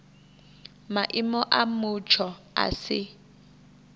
maimo a mutsho a si